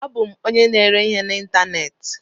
Abụ m onye na-ere ihe n'ịntanetị.